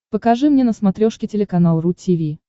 покажи мне на смотрешке телеканал ру ти ви